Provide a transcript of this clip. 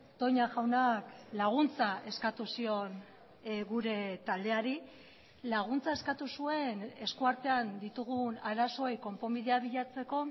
toña jaunak laguntza eskatu zion gure taldeari laguntza eskatu zuen esku artean ditugun arazoei konponbidea bilatzeko